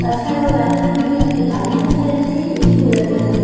তাছাড়াও রাস্তা থেকে একটি বাড়ি দেখা যাচ্ছে যেটি গোলাপি রঙের।